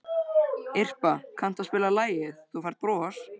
Irpa, kanntu að spila lagið „Þú Færð Bros“?